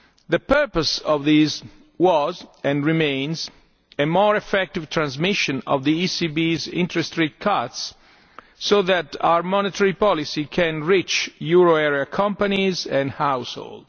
The purpose of these was and remains a more effective transmission of the ECB's interest rate cuts, so that our monetary policy can reach euro area companies and households.